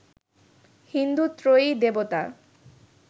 হিন্দু ত্রয়ী দেবতা